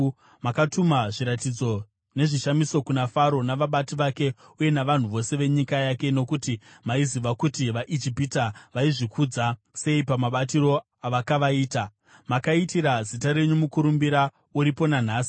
Makatuma zviratidzo nezvishamiso kuna Faro, navabati vake uye navanhu vose venyika yake, nokuti maiziva kuti vaIjipita vaizvikudza sei pamabatiro avakavaita. Makaitira zita renyu mukurumbira uripo nanhasi.